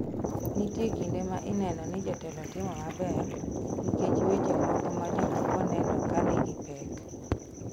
Nitie kinde ma inenoni jotelo timo maber nikech weche moko majomoko neno kanigi pek.